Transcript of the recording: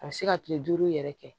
A bɛ se ka kile duuru yɛrɛ kɛ